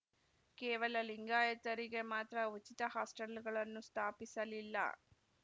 ಕೇವಲ ಲಿಂಗಾಯತರಿಗೆ ಮಾತ್ರ ಉಚಿತ ಹಾಸ್ಟೆಲ್‌ಗಳನ್ನು ಸ್ಥಾಪಿಸಲಿಲ್ಲ